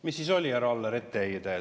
Mis siis oli, härra Aller, etteheide?